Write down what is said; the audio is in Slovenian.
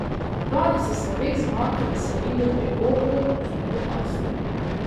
Lani so se obeh zmag veselili pri Oplu z novo astro.